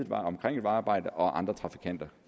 vejarbejde og andre trafikanter